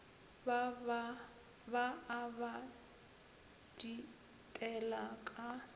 ba a ba ditela ka